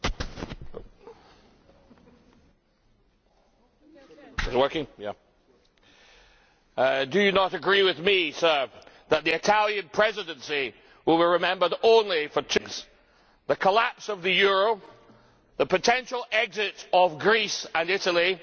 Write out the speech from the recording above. Do you not agree with me, Mr Renzi, that the Italian Presidency will be remembered only for two things the collapse of the euro and the potential exit of Greece and Italy and, of course, the LuxLeaks scandal, which has been dogging this presidency?